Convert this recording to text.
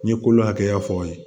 N ye kolo hakɛya fɔ aw ye